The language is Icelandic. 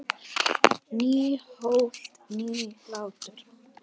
Nýtt hólf- nýr hlátur